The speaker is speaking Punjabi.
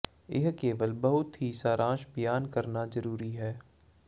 ਇਹ ਕੇਵਲ ਬਹੁਤ ਹੀ ਸਾਰਾਂਸ਼ ਬਿਆਨ ਕਰਨਾ ਜਰੂਰੀ ਹੈ